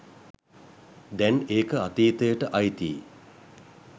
දැන් ඒක අතීතයට අයිතියි.